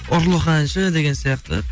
ұрлық әнші деген сияқты